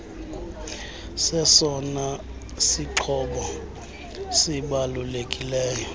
sesona sixhobo sibalulekileyo